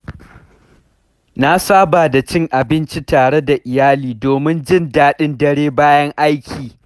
Na saba da cin abinci tare da iyali domin jin daɗin dare bayan aiki.